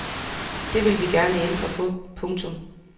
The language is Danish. Det vil vi gerne ændre på. punktum